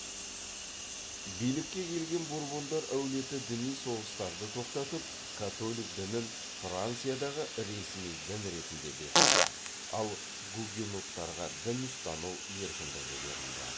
билікке келген бурбондар әулеті діни соғыстарды тоқтатып католик дінін франциядағы ресми дін ретінде бекітті ал гугеноттарға дін ұстану еркіндігі берілді